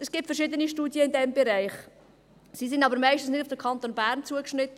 Es gibt verschiedene Studien in diesem Bereich, sie sind aber meist nicht auf den Kanton Bern zugeschnitten.